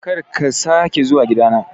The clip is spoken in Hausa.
Kar ki sake zuwa gida na